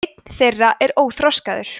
einn þeirra er óþroskaður